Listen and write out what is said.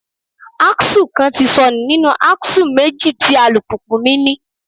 Axle kan ti sọnù nínú axle méjì tí alùpùpù mi ní.